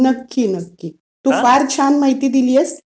नक्की नक्की. तू फार छान माहिती दिली आहेस.